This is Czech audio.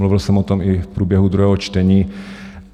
Mluvil jsem o tom i v průběhu druhého čtení.